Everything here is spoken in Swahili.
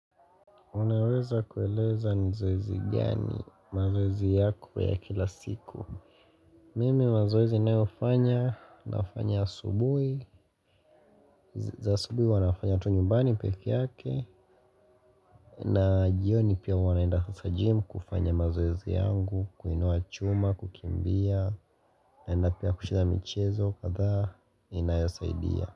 Unaweza kueleza nzoezi gani mazoezi yako ya kila siku. Mimi mazoezi inayofanya nafanya asubui. Za asubui huwa nafanya tu nyumbani peke yake. Na jioni pia huwa naenda kwa gym kufanya mazoezi yangu. Kuinua chuma, kukimbia. Naenda pia kushida michezo katha inayosaidia.